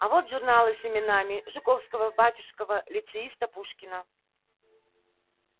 а вот журналы с именами жуковского батюшкова лицеиста пушкина